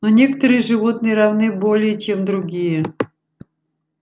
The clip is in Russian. но некоторые животные равны более чем другие